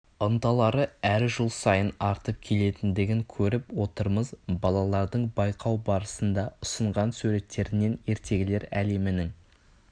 ынталары әр жыл сайын артып келетіндігін көріп отырмыз балалардың байқау барысында ұсынған суреттерінен ертегілер әлемінің